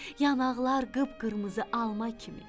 Yanaqlar qıpqırmızı alma kimi.